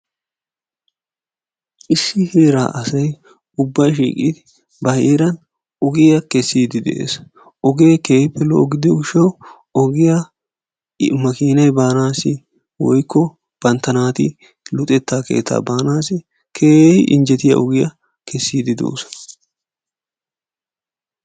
Issi heeraa asay shiiqqidi ba heeran ogiyaa keessiidi de'ees. Ogee keehippe lo"o gidiyoo giishshawu ogiyaa maakinay baanasi woykko bantta naati luxetta keettaa baanassi keehi injjetiyaa ogiyaa keessidi doosona.